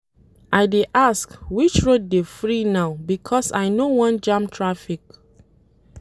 I dey ask which road dey free now because I no wan jam traffic.